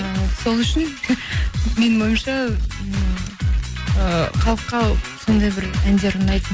і сол үшін менің ойымша ыыы халыққа сондай бір әндер ұнайтын